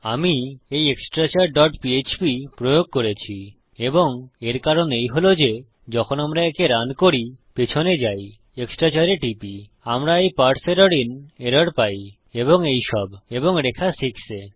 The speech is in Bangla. আমি এই এক্সট্রাচার ডট পিএচপি প্রয়োগ করেছি এবং এর কারণ এই হল যে যখন আমরা একে রান করিপিছনে যাইextrachar এ টিপি আমরা এই পারসে এরর আইএন এরর পাই এবং এইসব এবং রেখা 6 এ